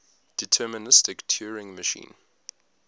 deterministic turing machine